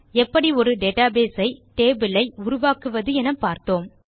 எப்படி ஒரு டேட்டாபேஸ் ஐ டேபிள் ஐ உருவாக்குவது எனவும் பார்த்தோம்